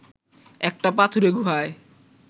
একটা পাথুরে গুহায়